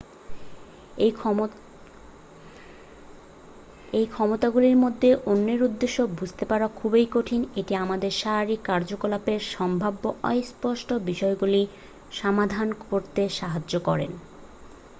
এই ক্ষমতাগুলির মধ্যে অন্যের উদ্দেশ্য বুঝতে পারা খুব কঠিন। এটি আমাদের শারীরিক কার্যকলাপের সম্ভাব্য অস্পষ্ট বিষয়গুলি সমাধান করতে সাহায্য করে।